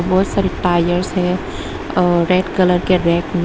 बहोत सारे टायर्स है और रेड कलर के रैक में --